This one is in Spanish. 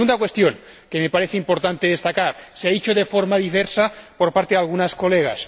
La segunda cuestión que me parece importante destacar se ha expresado de forma diversa, por parte de algunas colegas